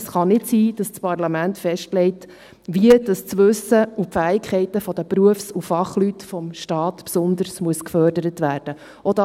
Es kann nicht sein, dass das Parlament festlegt, wie das Wissen und die Fähigkeiten der Berufs- und Fachleute vom Staat besonders gefördert werden müssen.